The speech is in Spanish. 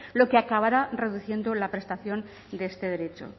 lo que acabará reduciendo la prestación de este derecho